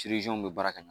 bɛ baara kɛ ɲɛ